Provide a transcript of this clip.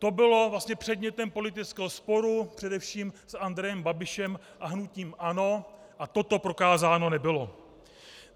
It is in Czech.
To bylo vlastně předmětem politického sporu především s Andrejem Babišem a hnutím ANO a toto prokázáno nebylo.